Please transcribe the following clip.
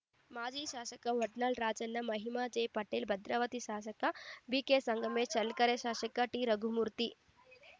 ಮಾಜಿ ಶಾಸಕ ವಡ್ನಾಳ್‌ ರಾಜಣ್ಣ ಮಹಿಮಾ ಜೆ ಪಟೇಲ್‌ ಭದ್ರಾವತಿ ಶಾಸಕ ಬಿಕೆಸಂಗಮೇಶ್‌ ಚಳ್ಳಕೆರೆ ಶಾಸಕ ಟಿರಘುಮೂರ್ತಿ